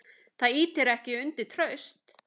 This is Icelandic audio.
Það ýtir ekki undir traust.